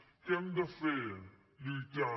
què hem de fer lluitar